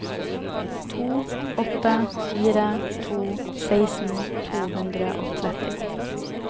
to åtte fire to seksten to hundre og tretti